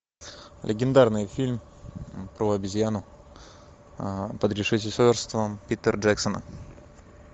легендарный фильм про обезьяну под режиссерством питера джексона